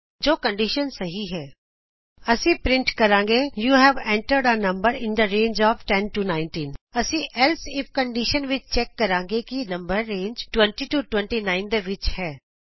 ਜੇ ਕੰਡੀਸ਼ਨ ਸਹੀ ਹੈ ਅਸੀਂ ਪਰਿੰਟ ਕਰਾਂਗੇ you have entered a number in the range of 10 19 ਇਸ ਏਲਸ ਇਫ ਕੰਡੀਸ਼ਨ ਵਿਚ ਅਸੀਂ ਚੈਕ ਕਰਾਂਗੇ ਕਿ ਕੀ ਨੰਬਰ ਰੇਂਜ 20 29 ਦੇ ਵਿਚ ਹੈ